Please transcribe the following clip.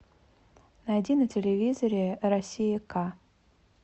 найди на телевизоре россия ка